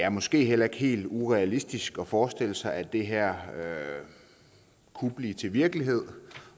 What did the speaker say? er måske heller ikke helt urealistisk at forestille sig at det her kunne blive til virkelighed